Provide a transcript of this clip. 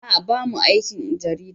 A'a bamu aikin jarida.